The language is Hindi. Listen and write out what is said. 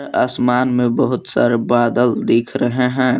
आसमान में बहुत सारे बादल दिख रहे है।